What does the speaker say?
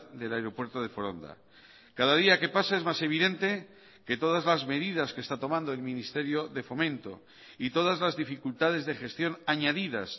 del aeropuerto de foronda cada día que pasa es más evidente que todas las medidas que está tomando el ministerio de fomento y todas las dificultades de gestión añadidas